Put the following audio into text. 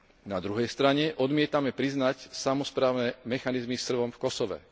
Na druhej strane odmietame priznať samosprávne mechanizmy Srbom v Kosove.